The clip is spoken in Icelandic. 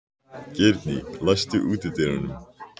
Sem betur fór líktist sonur minn mér ekki.